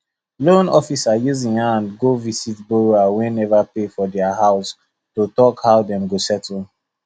loan officer use en hand go visit borrower wey never pay for their house to talk how dem go settle